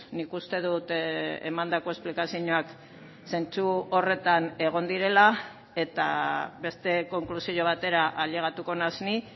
nik uste dut emandako esplikazioak zentzu horretan egon direla eta beste konklusio batera ailegatuko naiz ni